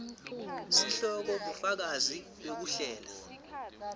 sihloko bufakazi bekuhlela